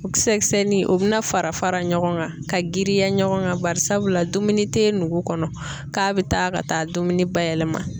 Kisɛ kisɛ ni o bɛna fara fara ɲɔgɔn kan ka girinya ɲɔgɔn kan barisabula dumuni t'e nugu kɔnɔ na k'a bi taa ka taa dumuni bayɛlɛma.